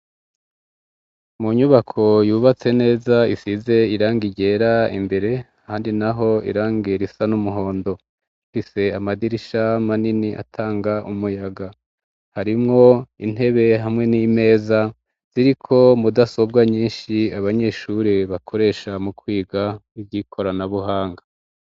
Mu nyubako yubatse neza isize irangi ryera imbere, ahandi naho irangi risa n'umuhondo, rifise amadirisha manini atanga umuyaga, harimwo intebe hamwe n'imeza ziriko mudasobwa nyinshi abanyeshure bakoresha mu kwiga ivyikoranabuhanga.